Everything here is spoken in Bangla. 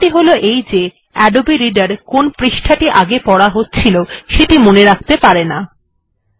সমস্যা টি হল এই যে আদবে রিডার কোন পৃষ্ঠা টি পড়া হচ্ছিল সেটি মনে রাখতে পারে না